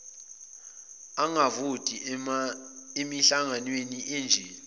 angavoti emihlanganweni enje